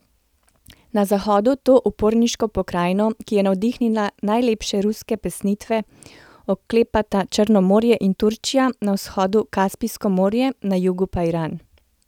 Na zahodu to uporniško pokrajino, ki je navdihnila najlepše ruske pesnitve, oklepata Črno morje in Turčija, na vzhodu Kaspijsko morje, na jugu pa Iran.